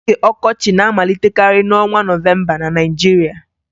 Oge ọkọchị na-amalitekarị n'ọnwa Nọvemba na Naịjirịa